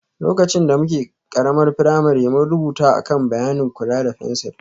Lokacin da muke ƙaramar firamare, mun rubuta a kan bayanin kula da fensir